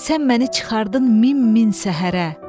Sən məni çıxardın min min səhərə.